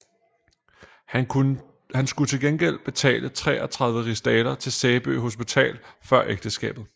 Han skulle til gengæld betale 33 rigsdaler til Sæby Hospital før ægteskabet